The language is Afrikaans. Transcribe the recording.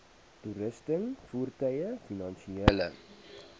toerusting voertuie finansiële